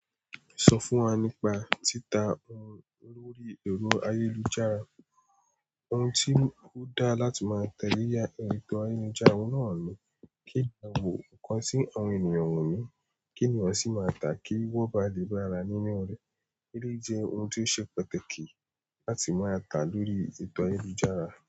Sọ fún wa nípa títa ohun lórí ẹ̀rọ ayélujára. Ohun tí ó dáa láti máa tẹ̀lẹ́ lórí ẹ̀rọ ayélujára, ohun náà ni kí a wò nǹkan kan tí àwọn ènìyàn wò ni kí ènìyàn sì máa tà kí wọ́n bá lè gbára nínú rẹ̀. Tíí ṣe ohun tí ó ṣe pàtàkì láti máa tà lórí ètò ayélujára.